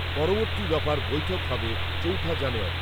পরবর্তী দফার বৈঠক হবে চৌঠা জানুয়ারী।